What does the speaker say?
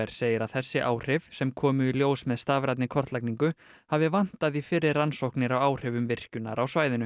segir að þessi áhrif sem komu í ljós með stafrænni kortlagningu hafi vantað í fyrri rannsóknir á áhrifum virkjunar á svæðinu